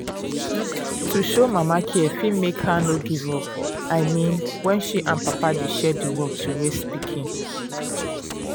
to show mama care fit make her no give up i mean when she and papa dey share the work to raise pikin.